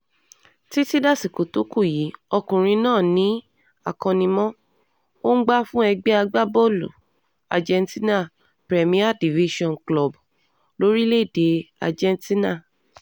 títí dasìkò tó kù yìí ọkùnrin náà ní akóni-mọ̀-ọ́n-gbà fún ẹgbẹ́ agbábọ́ọ̀lù argentinarè premier division club lórílẹ̀‐èdè argentina